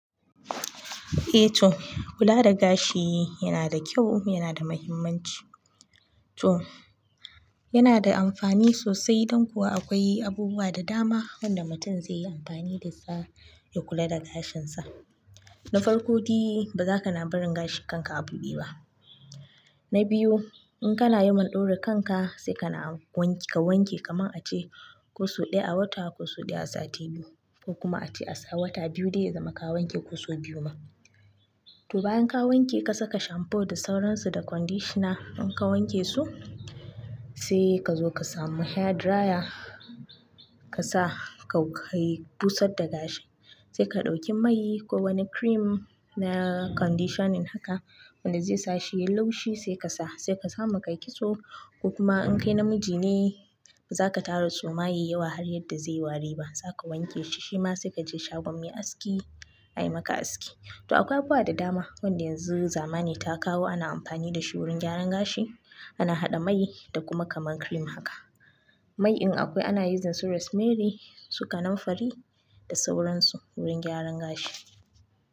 Eh to kula da gashi yana da kyau, yana da muhimmanci. To yana da amfani sosai don kuwa akwai abubuwa da dama wanda mutum zai yi amfani da su ya kula da gashinsa. Na farko dai ba za ka na barin gashin kanka a buɗe ba. Na biyu in kana yin ma ɗaure kanka sai ka na ka wanke kaman a ce ko sau ɗaya a wata ko ko sau ɗaya a sati biyu, ko kuma a ce a sa wata biyu dai ya zama ka wanke kusu biyu ma. To bayan ka wanke ka saka shamfu da sauransu da conditioner in ka wanke su sai ka zo ka samu hair dryer ka sa ka kai busar da gashi. Sai ka ɗauki mai ko wani cream na conditioning haka wanda zai sa shi ya yi laushi sai ka sa. Sai ka samu ka kitso ko kuma in kai namiji ne ba za ka tara suma yayi yawa har yadda zai wari ba. Za ka wanke shi shima sai ka je shagon me aski ayi maka aski. To akwai abubuwa da dama wanda yanzu zamani ta kawo ana amfani da shi wurin gyaran gashi. Ana haɗa mai da kuma kaman cream haka. Mai in akwai ana yin using su rose merry su kanun fari da sauransu wurin gyaran gashi.